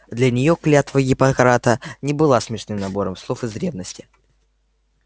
для неё клятва гиппократа не была смешным набором слов из древности